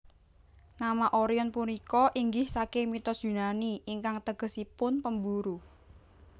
Nama Orion punika inggih saking mitos Yunani ingkang tegesipun pemburu